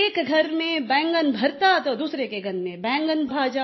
एक घर में बैंगन भरता तो दूसरे के घर में बैगन भाजा